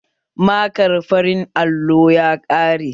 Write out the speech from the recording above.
Markar farin allon ya ƙare